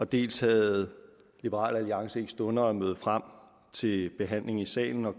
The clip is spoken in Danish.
dels havde liberal alliance ikke stunder at møde frem til behandling i salen og